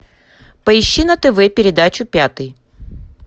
поищи на тв передачу пятый